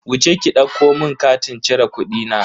Wuce ki ɗauko mun katin cire kudina.